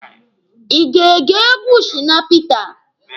Ị ga-ege egwu Shina Peter?